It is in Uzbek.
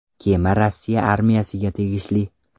Kema Rossiya armiyasiga tegishli.